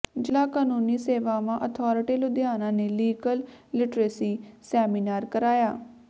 ਜਿਲਾ ਕਾਨੂੰਨੀ ਸੇਵਾਵਾਂ ਅਥਾਰਟੀ ਲੁਧਿਆਣਾ ਨੇ ਲੀਗਲ ਲਿਟਰੇਸੀ ਸੈਮੀਨਾਰ ਕਰਾਇਆ